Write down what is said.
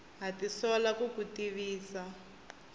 ha tisola ku ku tivisa